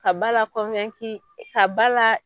Ka ba la ka ba la